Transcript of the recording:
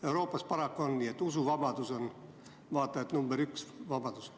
Euroopas paraku on nii, et usuvabadus on vaata et number üks vabadus.